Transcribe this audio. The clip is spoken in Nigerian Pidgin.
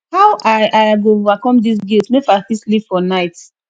how i i go overcome dis guilt make i fit sleep for night